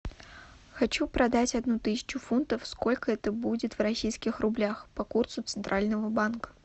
хочу продать одну тысячу фунтов сколько это будет в российских рублях по курсу центрального банка